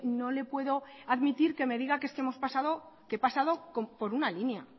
no le puedo admitir que me diga que es que hemos pasado que he pasado por una línea